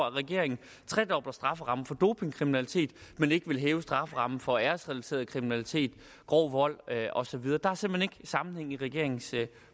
at regeringen tredobler strafferammen for dopingkriminalitet men ikke vil hæve strafferammen for æresrelateret kriminalitet grov vold og så videre der er simpelt hen ikke sammenhæng i regeringens